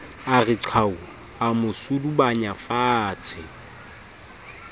re qhau a mo sudubanyafatshe